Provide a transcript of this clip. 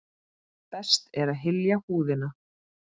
Best er að hylja húðina.